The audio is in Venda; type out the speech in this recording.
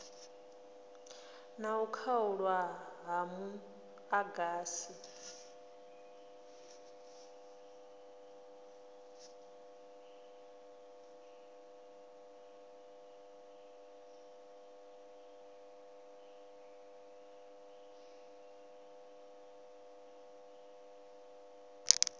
na u khaulwa ha muḓagasi